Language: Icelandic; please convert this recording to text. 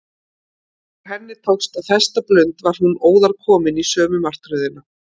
Þegar henni tókst að festa blund var hún óðar komin í sömu martröðina.